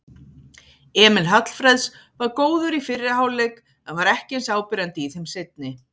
Emil Hallfreðs var góður í fyrri hálfleik en var ekki eins áberandi í þeim seinni.